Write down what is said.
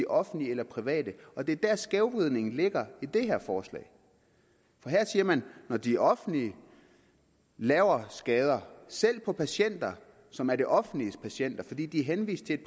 offentlige eller private det er der skævvridningen ligger i det her forslag her siger man at når de offentlige laver skader selv på patienter som er det offentliges patienter fordi de er henvist til et